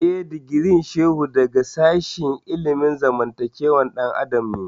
Eh, digirin Shehu daga sashen ilimin zamantakewar ɗan adam ne